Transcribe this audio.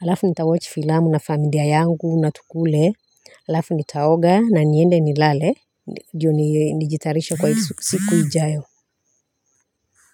alafu nitawochi filamu na familia yangu na tukule. Alafu nitaoga na niende nilale joni nijitayarishe kwa siku ijayo.